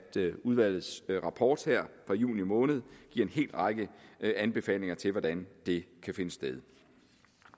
udvalgets rapport her fra juni måned giver en hel række anbefalinger til hvordan det kan finde sted